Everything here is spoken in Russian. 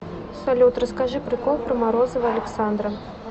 салют расскажи прикол про морозова александра